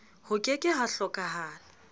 ho ke ke ha hlokahala